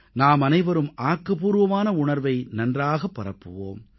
நாமனைவரும் ஆக்கப்பூர்வமான உணர்வை நன்றாகப் பரப்புவோம்